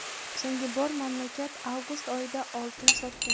so‘nggi bor mamlakat avgust oyida oltin sotgan.